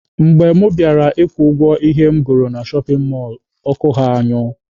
Mgbe mụ bịara ịkwụ ụgwọ ihe m goro na shọpin mọlụ, ọkụ ha anyụọ